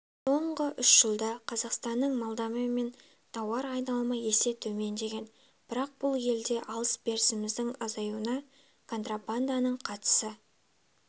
соңғы үш жылда қазақстанның молдовамен тауар айналымы есе төмендеген бірақ бұл елмен алыс-берісіміздің азаюына контрабанданың қатысы